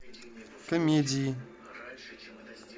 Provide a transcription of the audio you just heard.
комедии